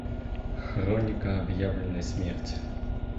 хроника объявленной смерти